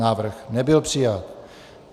Návrh nebyl přijat.